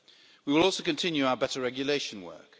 We will also continue our better regulation work.